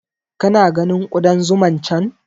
Ka na ganin Ƙudan zuman can?